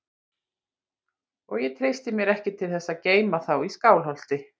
Og ég treysti mér ekki til þess að geyma þá í Skálholti.